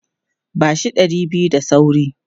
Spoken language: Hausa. Ba shi ɗari biyu da sauri!